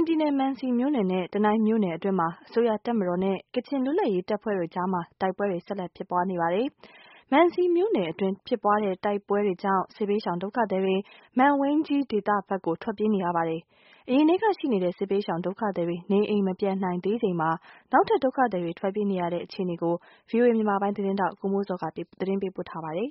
င်ပြည်နယ် မန်စီမြို့နယ်နဲ့ တနိုင်းမြို့နယ်အတွင်းမှာ အစိုးရတပ်မတော်နဲ့ ကချင် လွတ် လပ်ရေး တပ်ဖွဲ့အကြားမှာ တိုက်ပွဲတွေ ဆက်လက်ဖြစ်ပွား နေပါတယ်။ မန်စီမြို့နယ်မှာ ဖြစ်ပွားတဲ့ တိုက်ပွဲတွေကြောင့်စစ်ဘေးရှောင်ဒုက္ခသည်တွေ မန်ဝိန်းကြီးဒေသဖက်ကို ထွက်ပြေးနေရပါတယ်။ အရင်ထဲကရှိနေတဲ့ စစ်ဘေးရှောင် ဒုက္ခသည်တွေ နေအိမ် မပြန်နိုင်သေးချိန်မှာ နောက်ထပ် ဒုက္ခသည်တွေထွက်ပြေးနေရတဲ့ အခြေအနေကို ဗွီအိုအေ မြန်မာပိုင်းရဲ့ သတင်းထောက် ကိုမိုးဇော်က တင်ပြထားပါတယ်။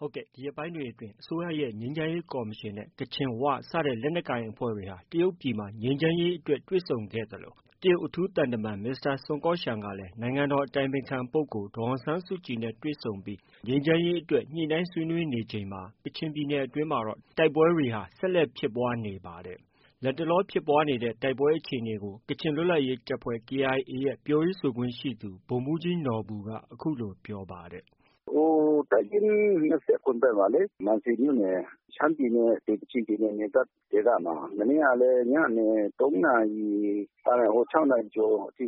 ဒီရက်ပိုင်းတွေအတွင်းမြန်မာပြည် ငြိမ်းချမ်းရေးအတွက် အစိုးရရဲ့ ငြိမ်းချမ်းရေးကော်မရှင်နဲ့ ကချင်၊ ၀ စတဲ့ လက်နက်ကိုင်အဖွဲ့တွေ တရုတ်ပြည်မှာတွေ့ဆုံခဲ့သလို တရုတ် အထူး သံတမန်က နိုင်ငံတော် အတိုင်ပင်ခံပုဂ္ဂိုလ် ဒေါ်အောင်ဆန်းစုကြည်နဲ့တွေ့ဆုံပြီး ညှိနှိုင်း ဆွေးနွေးနေချိန်မှာ ကချင်ပြည်နယ်အတွင်းမှာ တိုက်ပွဲတွေဟာ ဆက်လက်ဖြစ်ပွားနေတာ ပါတယ်။ လတ်တလောဖြစ်ပွားနေတဲ့ တိုက်ပွဲအခြေအနေကို ကချင်လွတ်လပ်ရေးတပ်ဖွဲ့ KIA ရဲ့ ပြောရေးဆိုခွင့်ရှိသူ ဗိုလ်မှုးကြီးနော်ဘူက အခုလို ပြောပါတယ်။ “ဟို တပ်ရင်း ၂၇ ဖက်မှာ မန်စီမြို့နယ် ရှမ်းပြည်နဲ့ ကချင်ပြည်နယ်နယ်စပ်ဒေသမှာ။ မနေ့ ကလည်း ညနေ ၃ နာရီ ကနေ ၆ နာရီကျော်အထိ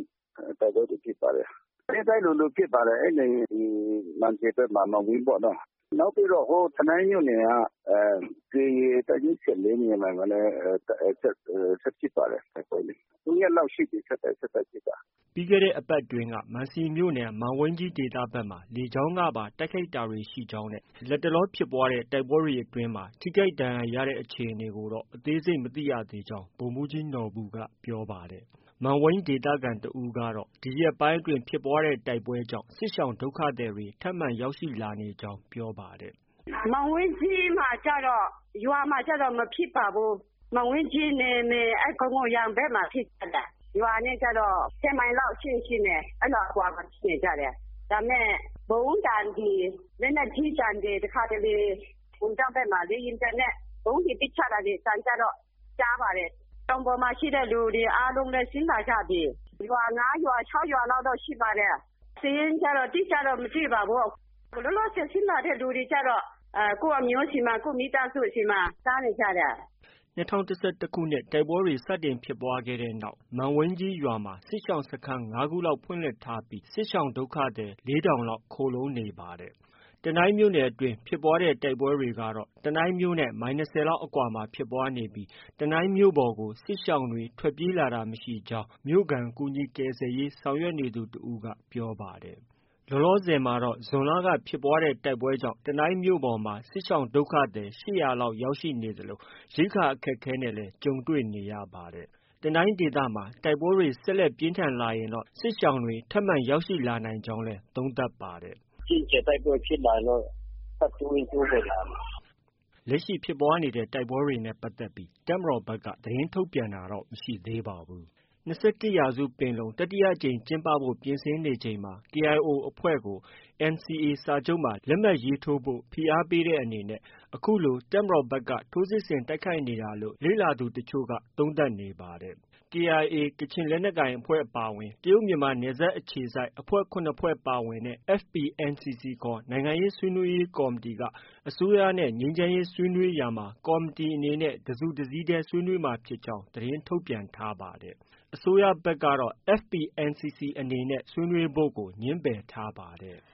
တိုက်ပွဲတွေဖြစ်ပါတယ်။ နေ့တိုင်း လိုလို ဖြစ်ပါတယ်။ အဲဒီမန်စီဖက်မှာ မန်ဝိန်းပေါ့နော။ နောက်ပြီးတော့ တနိုင်းမြို့နယ်က KIA တပ်ရင်း ၁၄ နေရာမှာလည်း ဆက်ဖြစ်ပါတယ်။ တိုက်ပွဲတွေ။ ၃ ရက်လောက်ရှိပြီ ဆက် တိုက် ဆက်တိုက်ဖြစ်တာ။ ” ပြီးခဲ့တဲ့အပတ် အတွင်းကတော့ မန်စီမြို့နယ် မန်ဝိန်းဒေသဖက်မှ လေကြောင်းကပါ တိုက် ခိုက်တာရှိကြောင်းနဲ့ ထိခိုက်ဒဏ်ရရှိမှုအခြေအနေကို အသေးစိတ် မသိရသေးကြောင်း လည်း ပြောပါတယ်။ မန်ဝိန်းဒေသခံတဦးကတော့ ဒီရက်ပိုင်းအတွင်းဖြစ်ပွားတဲ့တိုက်ပွဲတွေကြောင့် စစ်ရှောင် ဒုက္ခသည်တွေ ထပ်မံရောက်ရှိလာနေကြောင်း ပြောပါတယ်။ “မန်ဝိန်းကြီးမှာကျတော့ ရွာမှာကျတော့ မဖြစ်ပါဘူး။ မန်ဝိန်းကြီးနယ်မြေ ခုံလုံရမ်ဘက်မှာ ဖြစ်ကြတယ်။ ရွာနဲ့ကျတော့ ၁၀ မိုင်လောက်အကွာမှာဖြစ်ချင် ဖြစ်မယ်။ အဲလောက် အကွာ မှာ ဖြစ်နေကြတယ်။ ဒါပေမဲ့ ဗုံးသံတွေ၊ လက်နက်ကြီးသံတွေ တခါတလေ ဘုံကျောင်း ဘက် ကမှ လေယာဉ်ပျံနဲ့ ဗုံးတွေ ပစ်ချတဲ့အသံကျတော့ ကြားပါတယ်။ တောင်ပေါ်မှာ ရှိတဲ့လူတွေကျတော့ အားလုံးဆင်းလာကြပြီ။ ရွာ ၅ ရွာ၊ ၆ ရွာလောက်တော့ ရှိပါတယ်။ စာရင်းကျတော့ အတိအကျတော့ မသိပါဘူး။ လောလောဆယ် ဆင်းလာတဲ့ သူတွေ ကျတော့ ကိုယ့်အမျိုးဆီမှာ ကိုယ့်မိသားစုဆီမှာ စားနေကြတယ်။” ၂၀၁၁ ခု တိုက်ပွဲတွေဖြစ်ပွားခဲ့တဲ့နောက် မန်ဝိန်းကြီးရွာမှာ စစ်ရှောင်စခန်း ၅ ခုလောက် ဖွင့်လှစ်ထားတာပြီး စစ်ရှောင်ဒုက္ခသည် ၄ထောင်ကျော်လောက် ခိုလှုံနေတာဖြစ်ပါတယ်။ တနိုင်းမြို့နယ်အတွင်း ဖြစ်ပွားတဲ့တိုက်ပွဲတွေကတော့ တနိုင်းမြို့နဲ့ မိုင်၂၀ လောက်အကွာ မှာ ဖြစ်ပွားနေပြီး တနိုင်းမြို့ပေါ်ကို စစ်ရှောင်တွေ ထွက်ပြေးလာတာ မရှိကြောင်း တနိုင်းမြို့ က ကူညီကယ်ဆယ်ရေး ဆောင်ရွက်နေသူတဦးက ပြောပါတယ်။ လောလောဆယ် မှာ တော့ ဇွန်လက ဖြစ်ပွားတဲ့တိုက်ပွဲကြောင့် တနိုင်းမြိ့ပေါ်မှာ စစ်ရှောင်ဒုက္ခသည် ၈၀၀ လောက် ရောက်ရှိနေသလို ရိက္ခာအခက်အခဲနဲ့လည်း တွေ့ကြုံနေရပါတယ်။ တနိုင်းဒေသ မှာ တိုက်ပွဲတွေ ဆက်လက်ပြင်းထန်လာရင်တော့ စစ်ရှောင်တွေ ထပ်မံရောက်လာ နိုင်ကြောင်းလည်း သုံးသပ်ပါတယ်။ “အကြီးအကျယ်တိုက်ပွဲဖြစ်လာရင်တော့ ထပ်တိုးရင် တိုးလာမယ်။” ၂၁ ရာစုပင်လုံ တတိယအကြိမ်ကျင်းပဖို့ပြင်ဆင်နေချိန်မှာ KIO အဖွဲ့ကို NCA စာချုပ်မှာ လက်မှတ်ထိုးဖို့ ဖိအားပေးတဲ့အနေနဲ့ ခုလို တပ်မတော်ဖက်က ထိုးစစ်ဆင် တိုက်ခိုက် နေတာ လို့ လေ့လာသူတချို့က သုံးသပ်နေပါတယ်။ KIA ကချင်လက်နက်ကိုင်အဖွဲ့ အပါ အဝင် တရုတ်မြန်မာနယ်စပ်အခြေစိုက်အဖွဲ့ ၇ ဖွဲ့ ပါဝင်တဲ့ FPNCC ခေါ် နိုင်ငံရေး ဆွေးနွေး ရေး ကော်မတီက အစိုးရနဲ့ ငြိမ်းချမ်းရေးဆွေးနွေးရာမှာ ကော်မတီအနေနဲ့ တစုတစည်း တည်း ဆွေးနွေးမှာဖြစ်ကြောင်း သတင်းထုတ်ပြန်ထားပါတယ်။ အစိုးရဘက် ကတော့ FPNCC အနေနဲ့ ဆွေးနွေးဖို့ကို ငြင်းပယ်ထားပါတယ်။